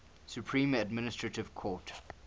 supreme administrative court